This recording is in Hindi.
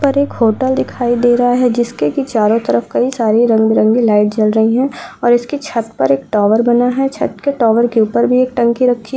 यहाँ पे एक होटल दिखाई दे रहा है जिसके की चारों तरफ कई सारे रंग बिरंगी लाईट जल रहीं हैं और इसकी छत पर एक टावर बना है छत के टावर के ऊपर भी एक टंकी रखी --